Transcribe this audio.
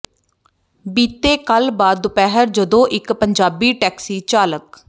ਬੀਤੇ ਕੱਲ੍ਹ ਬਾਅਦ ਦੁਪਹਿਰ ਜਦੋਂ ਇਕ ਪੰਜਾਬੀ ਟੈਕਸੀ ਚਾਲਕ ਸ